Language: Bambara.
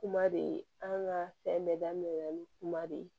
Kuma de an ka fɛn bɛɛ daminɛ na ni kuma de ye